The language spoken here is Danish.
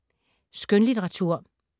Skønlitteratur